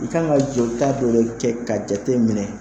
I kan ka joli ta dɔ kɛ k'a jate minɛ